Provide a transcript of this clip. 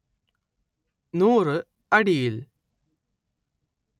നൂറ് അടിയിൽ